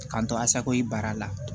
K'an to asakoyi baara la